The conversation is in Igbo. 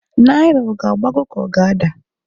Naira ọ g'agbago k'o g' ada?